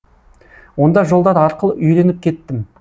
онда жолдар ақылы үйреніп кеттім